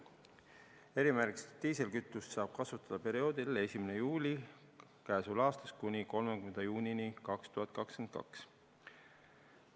Erimärgistusega diislikütust saab kasutada perioodil 1. juuli k.a kuni 30. juuni 2022.